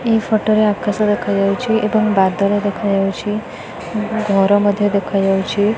ଏଇ ଫଟୋ ରେ ଆକାଶ ଦେଖା ଯାଉଛି ଏବଂ ବାଦଲ ଦେଖା ଯାଉଛି ଘର ମଧ୍ୟ ଦେଖାଯାଉଛି।